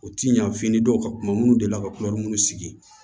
U ti ɲa fini dɔw ka kuma minnu delila ka kulɛri minnu sigi